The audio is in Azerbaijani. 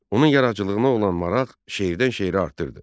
Onun yaradıcılığına olan maraq şeirdən şeirə artırdı.